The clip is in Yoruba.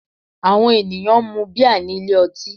Àwọn ènìyàn ń mun bíà nílé ọtí